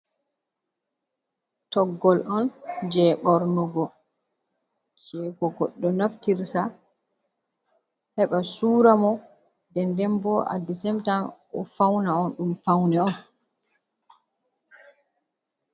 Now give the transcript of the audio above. Toggowol on je ɓurnugo je ko goɗɗo naftira heɓa sura mo, nden denbo at the same time o fauna on ɗum paune on.